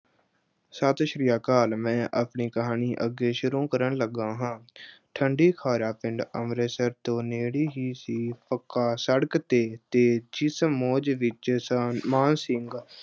ਸਤਿ ਸ਼੍ਰੀ ਅਕਾਲ, ਮੈਂ ਆਪਣੀ ਕਹਾਣੀ ਅੱਗੇ ਸ਼ੁਰੂ ਕਰਨ ਲੱਗਾ ਹਾਂ। ਅਹ ਠੰਡੀਖਾਰਾ ਪਿੰਡ ਅੰਮ੍ਰਿਤਸਰ ਤੋਂ ਨੇੜੇ ਹੀ ਸੀ, ਪੱਕਾ ਸੜਕ ਤੇ, ਤੇ ਜਿਸ ਫੌਜ ਵਿੱਚ ਸਾ ਆਹ ਮਾਨ ਸਿੰਘ